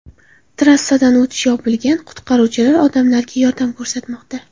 Trassadan o‘tish yopilgan, qutqaruvchilar odamlarga yordam ko‘rsatmoqda.